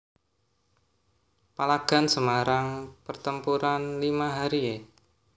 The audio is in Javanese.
Palagan Semarang Pertempuran Lima Hari e